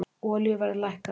Olíuverð lækkar á ný